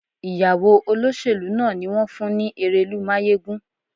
Ìyàwó olóṣèlú náà ni wón fún ní erelú máyégún.